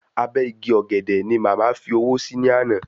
Abẹ́ igi ọ̀gẹ̀dẹ̀ ni màmá fi owó sí ní àná